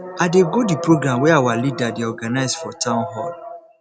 i dey go the program wey our leader dey organize for town hall